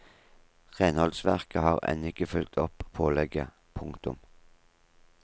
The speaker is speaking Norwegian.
Renholdsverket har ennå ikke fulgt opp pålegget. punktum